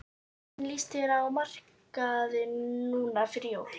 Hvernig lýst þér á markaðinn núna fyrir jólin?